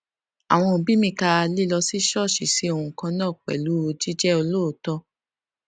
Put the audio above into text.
àwọn òbí mi ka lílọ sí ṣóòṣì sí ohun kan náà pèlú jíjé olóòótó